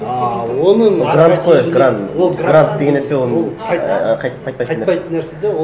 ыыы оның грант қой грант грант деген нәрсе ол ііі қайтпайтын нәрсе де ол